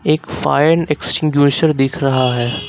एक fire extinguisher दिख रहा है।